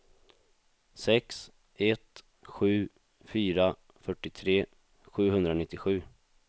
sex ett sju fyra fyrtiotre sjuhundranittiosju